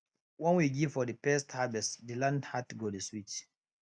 when we give for de first harvest de land heart go dey sweet